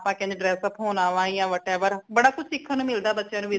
ਹਾਂ ਆਪਾ ਕਿੰਝ dress up ਹੋਣਾ ਵਾ ਯਾ whatever ਬੜਾ ਕੁਝ ਸਿੱਖਣ ਨੂ ਮਿਲਦਾ ਬੱਚਿਆਂ ਨੂ